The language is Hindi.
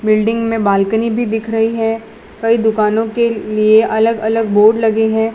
बिल्डिंग में बालकनी भी दिख रही है कई दुकानों के लिए अलग अलग बोर्ड लगे हैं।